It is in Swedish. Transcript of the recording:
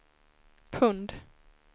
pund